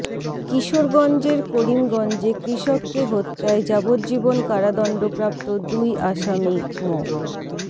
কিশোরগঞ্জের করিমগঞ্জে কৃষককে হত্যায় যাবজ্জীবন কারাদণ্ডপ্রাপ্ত দুই আসামি মো